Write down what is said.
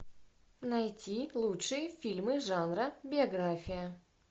найти лучшие фильмы жанра биография